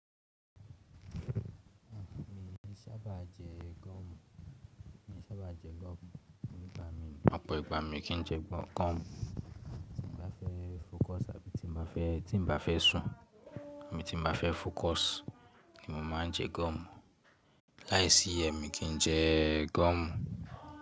Ah mi sábà jẹ́ gọ́ọ̀mù. Mi sábà jẹ́ gọ́ọ̀mù vitamin. Ọ̀pọ̀ ìgbà mi kì í jẹ gọ́ọ̀mù. Tí mo bá fẹ́ focus tàbí tí mo bá fẹ́, tí mo bá fẹ́ sùn àbí tí mo bá fẹ́ focus ni mo máa ń jẹ gọ́ọ̀mù. Láìsí ẹ mi kì í jẹ gọ́ọ̀mù.